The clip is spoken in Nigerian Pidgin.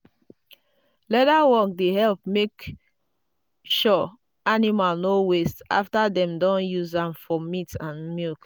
leather work dey help make sure animal no waste after dem don use am for meat and milk.